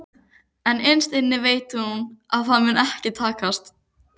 En innst inni veit hún að það mun ekki takast.